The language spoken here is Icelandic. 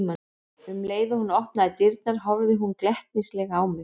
Um leið og hún opnaði dyrnar horfði hún glettnislega á mig.